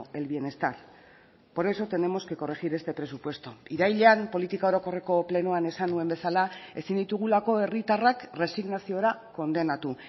el bienestar por eso tenemos que corregir este presupuesto irailean politika orokorreko plenoan esan nuen bezala ezin ditugulako herritarrak resignaziora kondenatu